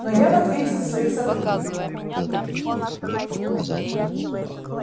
но я в ответе за своих сотрудников